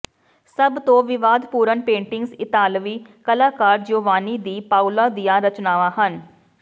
ਸਭ ਤੋਂ ਵਿਵਾਦਪੂਰਨ ਪੇਟਿੰਗਜ਼ ਇਤਾਲਵੀ ਕਲਾਕਾਰ ਜਿਓਵਾਨੀ ਦੀ ਪਾਓਲੋ ਦੀਆਂ ਰਚਨਾਵਾਂ ਹਨ